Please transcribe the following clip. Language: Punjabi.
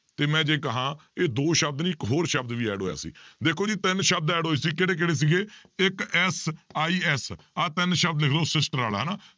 ਤੇ ਮੈਂ ਜੇ ਕਹਾਂ ਇਹ ਦੋ ਸ਼ਬਦ ਨੀ ਇੱਕ ਹੋਰ ਸ਼ਬਦ ਵੀ add ਹੋਇਆ ਸੀ, ਦੇਖੋ ਜੀ ਤਿੰਨ ਸ਼ਬਦ add ਹੋਏ ਸੀ ਕਿਹੜੇ ਕਿਹੜੇ ਸੀਗੇ ਇੱਕ SIS ਆਹ ਤਿੰਨ ਸ਼ਬਦ ਲਿਖ ਲਓ ਹਨਾ